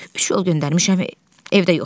Üç yol göndərmişəm, evdə yoxdular.